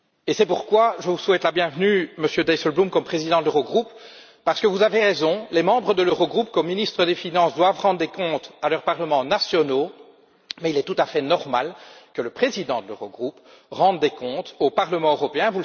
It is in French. C'est pourquoi je vous souhaite la bienvenue, Monsieur Dijsselbloem, comme président de l'Eurogroupe, parce que vous avez raison, les membres de l'Eurogroupe, en tant que ministres des finances, doivent rendre des comptes à leurs parlements nationaux, mais il est tout à fait normal que le président de l'Eurogroupe rende des comptes au Parlement européen.